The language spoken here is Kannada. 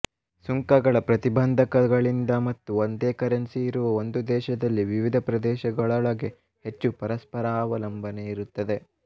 ಸುಂಕಗಳ ಪ್ರತಿಬಂಧಕಗಳಿಂದ ಮತ್ತು ಒಂದೇ ಕರೆನ್ಸಿ ಇರುವ ಒಂದು ದೇಶದಲ್ಲಿ ವಿವಿಧ ಪ್ರದೇಶಗಳೊಳಗೆ ಹೆಚ್ಚು ಪರಸ್ಪರಾವಲಂಬನೆಯಿರುತ್ತದೆ